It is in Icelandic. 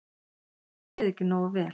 Þér leið ekki nógu vel.